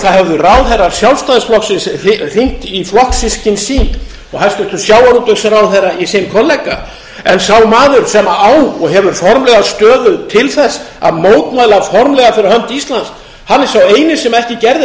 að það hefðu ráðherrar sjálfstæðisflokksins hringt í flokkssystkin sín og hæstvirtur sjávarútvegsráðherra í sinn kollega en sá maður sem á og hefur formlega stöðu til þess að mótmæla formlega fyrir hönd íslands hann er sá eini sem ekki gerði